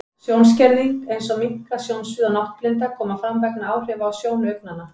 Sjónskerðing, eins og minnkað sjónsvið og náttblinda, koma fram vegna áhrifa á sjónu augnanna.